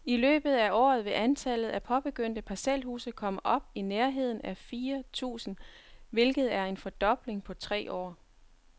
I løbet af året vil antallet af påbegyndte parcelhuse komme op i nærheden af fire tusind, hvilket er en fordobling på tre år.